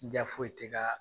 Ja foyi ti ka